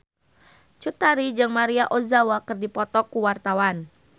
Cut Tari jeung Maria Ozawa keur dipoto ku wartawan